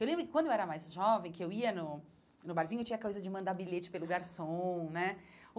Eu lembro que quando eu era mais jovem, que eu ia no no barzinho, tinha a coisa de mandar bilhete pelo garçom, né?